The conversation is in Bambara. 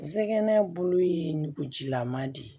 Zɛgɛn bolo ye ngukujilama de ye